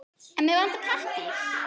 En mig vantar pappír.